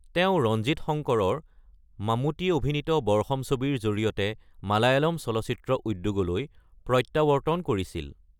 তেওঁ ৰঞ্জিৎ শঙ্কৰৰ মাম্মূতি অভিনীত বৰ্ষম ছবিৰ জৰিয়তে মালায়ালাম চলচ্চিত্ৰ উদ্যোগলৈ প্ৰত্য়াৱৰ্ত্তন কৰিছিল।